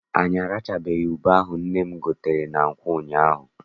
Anyị arachabeghị ube ahụ nna m gotere na nkwọ ụnyaahụ.